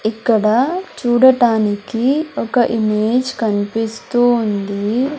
ఇక్కడ చూడటానికి ఒక ఇమేజ్ కన్పిస్తూ ఉంది.